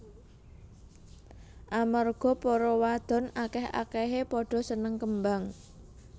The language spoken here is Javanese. Amarga para wadon akéh akéhé pada seneng kembang